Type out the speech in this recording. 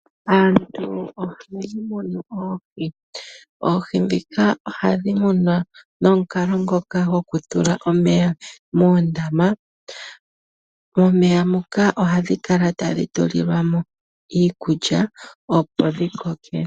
Aantu ohaya munu oohi. Oohi ndhika ohadhi munwa nomukalo ngoka gokutula omeya moondama. Momeya moka ohadhi kala tadhi tulilwa mo iikulya, opo dhi koke.